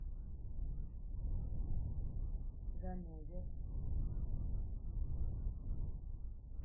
ганновер